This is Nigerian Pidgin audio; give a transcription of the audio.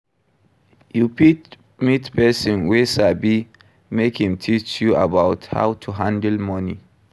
You fit meet person wey sabi make im teach you about how to handle money